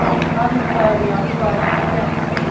That is what we are trying to get to.